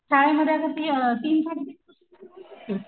शाळेमध्ये आता त तीन सडे तीन पासून घालू शकतो.